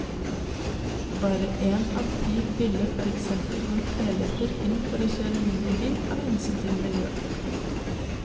Bare en av ti ville for eksempel gått helhjertet inn for å kjøre mindre bil av hensyn til miljøet.